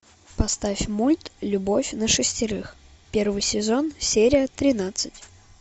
поставь мульт любовь на шестерых первый сезон серия тринадцать